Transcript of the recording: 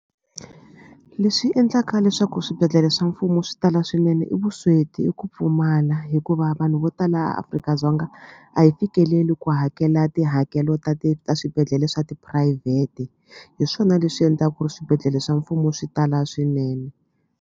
Leswi endlaka leswaku swibedhlele swa mfumo swi tala swinene i vusweti i ku pfumala hikuva vanhu vo tala Afrika-Dzonga a hi fikeleli ku hakela tihakelo ta ti ta swibedhlele swa tiphurayivhete hi swona leswi endla ku ri swibedhlele swa mfumo swi tala swinene.